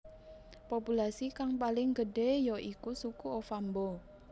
Populasi kang paling gedhé ya iku suku Ovambo